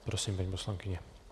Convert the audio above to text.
Prosím, paní poslankyně.